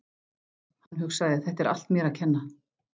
Hann hugsaði: Þetta er allt mér að kenna.